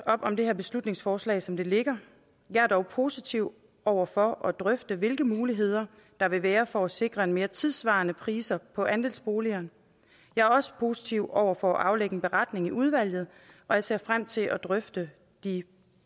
op om det her beslutningsforslag som det ligger jeg er dog positiv over for at drøfte hvilke muligheder der vil være for at sikre mere tidssvarende priser på andelsboliger jeg er også positiv over for at aflægge en beretning i udvalget og jeg ser frem til at drøfte de